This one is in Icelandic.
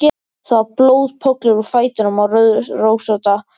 Það var blóðpollur úr fætinum á rauðrósótta teppinu.